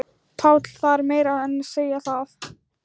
PÁLL: Það er meira en að segja það.